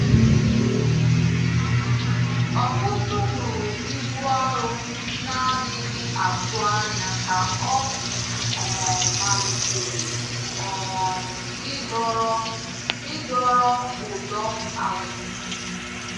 Ọkụ́tụ̀ hụrụ ibu arọ na-adịghị atụ anya ka ọ um malitere um ịdọrọ ịdọrọ ụdọ azụ.